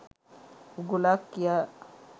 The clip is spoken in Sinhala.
උගුලක් කියා.